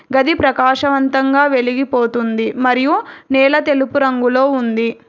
గది ప్రకాశవంతంగా వెలిగిపోతుంది మరియు నేల తెలుపు రంగులో ఉంది.